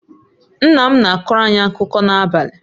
Nna m na-akọrọ anyị akụkọ n'abalị